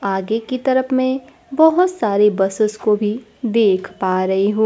आगे की तरफ में बहोत सारी बसेस को भी देख पा रही हूँ।